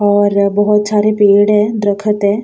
और बहोत सारे पेड़ हैं द्रखत हैं।